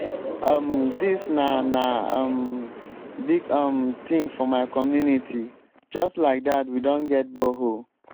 um dis na na um big um thing for my community. just like dat we don get borehole.